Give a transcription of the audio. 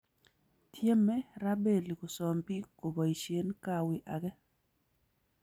Tieme Rabelli Kosom biik koboishe kawi age